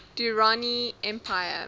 durrani empire